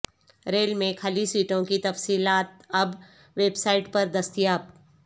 rail میں خالی سیٹوں کی تفصیلات اب ویب سائٹ پر دستیاب